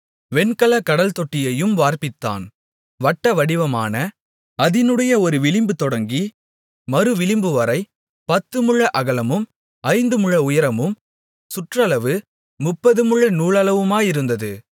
வெண்கலக் கடல்தொட்டியையும் வார்ப்பித்தான் வட்டவடிவமான அதினுடைய ஒரு விளிம்பு தொடங்கி மறு விளிம்புவரை பத்துமுழ அகலமும் ஐந்துமுழ உயரமும் சுற்றளவு முப்பதுமுழ நூலளவுமாயிருந்தது